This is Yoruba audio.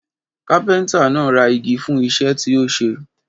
Kápẹ́ńtà náà ra igi fún iṣẹ́ tí ó ṣe.